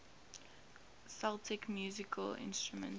celtic musical instruments